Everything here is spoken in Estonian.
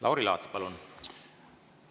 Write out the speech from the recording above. Lauri Laats, palun!